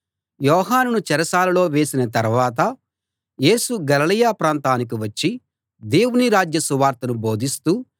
యోహానును చెరసాలలో వేసిన తరవాత యేసు గలిలయ ప్రాంతానికి వచ్చి దేవుని రాజ్య సువార్తను బోధిస్తూ